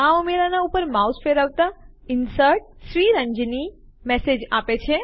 આ ઉમેરાનાં ઉપર માઉસ ફેરવતા Inserted શ્રીરંજની મેસેજ આપે છે